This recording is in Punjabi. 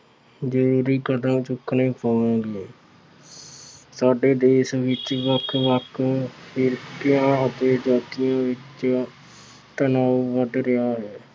ਜ਼ਰੂਰੀ ਕਦਮ ਚੁੱਕਣੇ ਹੋਣਗੇ। ਸਾਡੇ ਦੇਸ਼ ਵਿੱਚ ਵੱਖ ਵੱਖ ਫਿਰਕਿਆਂ ਅਤੇ ਜਾਤੀਆਂ ਵਿੱਚ ਤਣਾਉ ਵੱਧ ਰਿਹਾ ਹੈ।